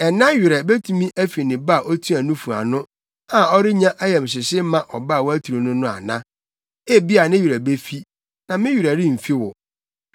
“Ɛna werɛ betumi afi ne ba a otua nufu ano a ɔrennya ayamhyehye mma ɔba a waturu no no ana? Ebia ne werɛ befi, na me werɛ remfi wo!